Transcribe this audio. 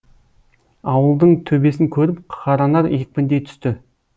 ауылдың төбесін көріп қаранар екпіндей түсті